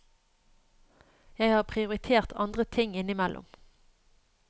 Jeg har prioritert andre ting innimellom.